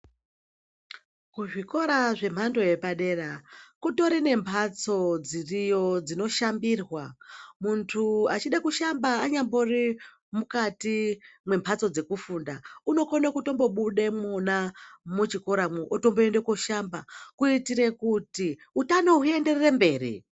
Kuzvikora zvemhando yepadera kutori nemhatso dziriyo dzinoshambirwa, muntu achida kushamba anyambori mukati mwemhatso dzekufunda unokone kutombobude mwona muchikoracho otomboende kunoshamba kuitira kuti utano huenderere mberi.